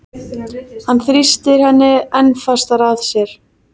Hann þrýstir henni enn fastar að sér.